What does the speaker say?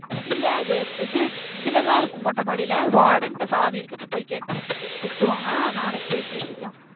இல்ல அது இது இதுலதான் இருக்கும். மொட்ட மடியில வாடன்ட்ட சாவி இருக்கு இப்போ போய் கேட்டா திட்டுவாங்க நா நாளைக்கு போய் கேட்டுக்கலாம்.